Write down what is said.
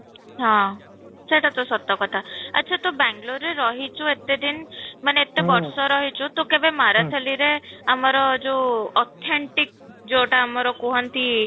ହଁ, ସେଇଟା ତ ସତ କଥା, ଆଚ୍ଛା ତ ବାଙ୍ଗାଲୁରରେ ରହିଛୁ ଏତେ ଦିନ ମାନେ ଏତେ ବର୍ଷ ରହିଛୁ ତୁ କେବେ ମାରାଥାଲୀରେ ଆମର ଯଉ authentic ଯଉଟା ଆମର କୁହନ୍ତି